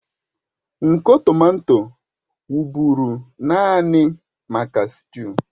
Nkọ tomato wụ́bụ́ru naanị maka sịtịụ